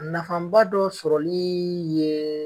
Nafaba dɔ sɔrɔlii